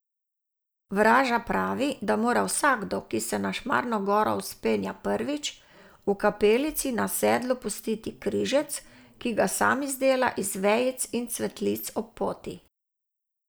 Vraža pravi, da mora vsakdo, ki se na Šmarno goro vzpenja prvič, v kapelici na sedlu pustiti križec, ki ga sam izdela iz vejic in cvetlic ob poti.